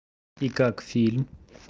и как фильм